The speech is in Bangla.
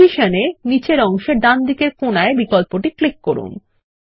পজিশন এ নীচের অংশে ডানদিকে কোনায় বিকল্পটি ক্লিক করুন